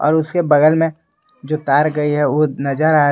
और उसके बगल में जो तार गई है वह नजर आ--